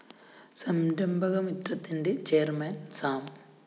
സംരഭക മിത്രത്തിന്റെ chairman Sam